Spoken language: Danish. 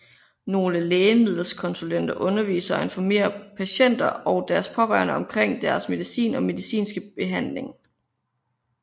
Nogle lægemiddelkonsulenter underviser og informerer patienter og deres pårørende omkring deres medicin og medicinske behandling